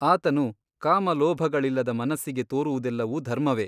ಆತನು ಕಾಮ ಲೋಭಗಳಿಲ್ಲದ ಮನಸ್ಸಿಗೆ ತೋರುವುದೆಲ್ಲವೂ ಧರ್ಮವೇ !